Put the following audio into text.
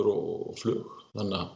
og flug